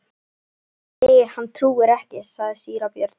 Nei, hann trúir ekki, sagði síra Björn.